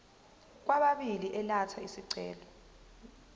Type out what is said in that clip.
kwababili elatha isicelo